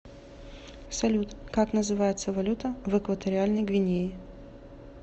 салют как называется валюта в экваториальной гвинее